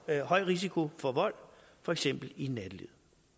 er høj risiko for vold for eksempel i nattelivet